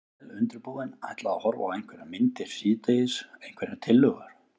Vel undirbúinn. ætla að horfa á einhverjar myndir síðdegis, einhverjar tillögur?